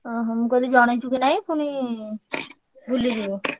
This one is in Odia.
ଓହୋ, ମୁଁ କହିଲି ଜଣେଇଛୁ କି ନାଇଁ ପୁଣି ଭୁଲି ଯିବୁ